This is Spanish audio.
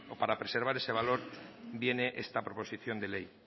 para preservar ese valor viene esta proposición de ley